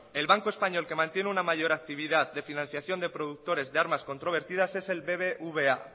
el banco español que mantiene una mayor actividad de financiación de productores de armas controvertidas es el bbva